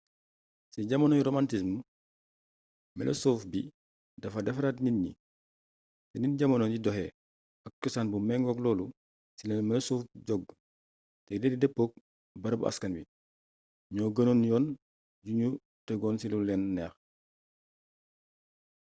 ci jamonoy romantism melosuuf bi dafa defaraat nit ñi te ni jamono di doxee ak cosaan bu méngook loolu ci la melosuuf jog te yile dëppook barabu askan wi ñoo gënoon yoon yuñu tegon ci lu leen neex